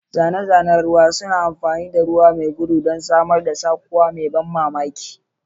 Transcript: Zane-zanen ruwa suna amfani da ruwa mai gudana don samar da saukowa mai ban mamaki.